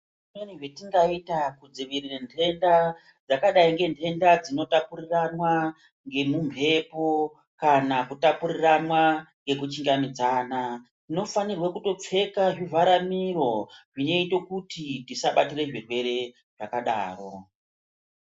Zvimweni zvetingaita kudzivirira ntenda dzakadai ngedzinotapuriranwa dzemhepo kana kutapurirana nekuchingamidzana tinofana kutopfeka zviraramiro zvinoite kuti tisabatira zvirwere zvakadaro.